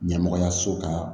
Ɲamɔgɔyaso ka